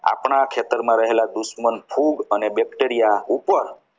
ખેતરમાં રહેલા દુશ્મન ફૂગ અને bacteria ઉપર